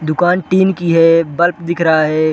दुकान टिन की है बल्ब दिख रहा है।